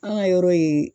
An ka yɔrɔ ye